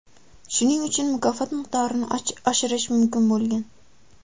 Shuning uchun mukofot miqdorini oshirish mumkin bo‘lgan.